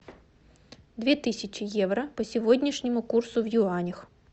две тысячи евро по сегодняшнему курсу в юанях